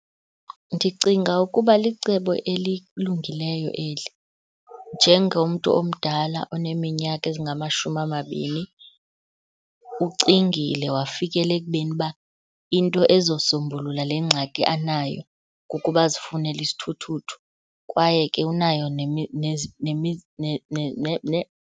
Ndicinga ukuba licebo eli. Njengomntu omdala oneminyaka engamashumi amabini ucingile wafikela ekubeni uba into ezosombulula le ngxaki anayo kukuba azifunele isithuthuthu. Kwaye ke unayo .